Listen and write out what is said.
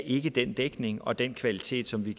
ikke den dækning og den kvalitet som vi